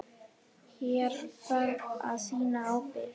Hér þarf að sýna ábyrgð.